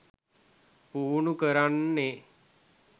පුහුණු කරන්නෙ.